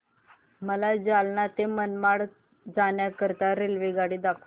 मला जालना ते मनमाड जाण्याकरीता रेल्वेगाडी दाखवा